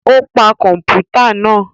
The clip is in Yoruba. O pa kọmputa náà